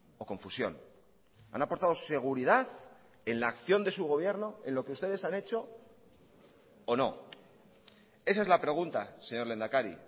o confusión han aportado seguridad en la acción de su gobierno en lo que ustedes han hecho o no esa es la pregunta señor lehendakari